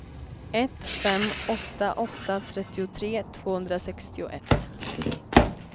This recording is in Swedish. ett fem åtta åtta trettiotre tvåhundrasextioett